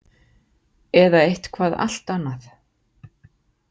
Eða eitthvað allt annað.